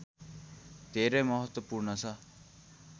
धेरै महत्त्वपूर्ण छ